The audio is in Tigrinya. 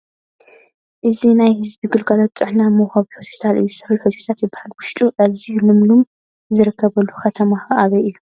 እዚ ናይ ሕዝቢ ግልጋሎት ጥዕና መውሃቢ ሆስፒታል እዩ፡ ስሑል ሆስፒታል ይበሃል ፡ ውሽጡ ኣዝዩ ልምሉም ዝርከበሉ ከተማኸ ኣበይ እዩ ?